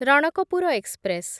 Ranakpur express